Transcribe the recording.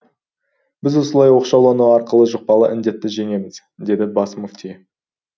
біз осылай оқшаулану арқылы жұқпалы індетті жеңеміз деді бас мүфти